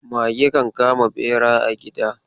Mage kan kama bera a gida.